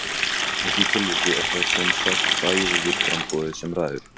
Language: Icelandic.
Í því tilviki er það sem sagt fæðuframboðið sem ræður.